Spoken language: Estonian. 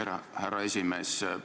Aitäh, härra esimees!